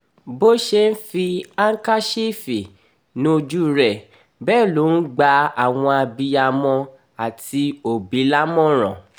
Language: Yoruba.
bó ṣe ń fi àǹkàṣìfì níjú rẹ̀ bẹ́ẹ̀ ló ń gba àwọn abiyamọ àti òbí lámòmíràn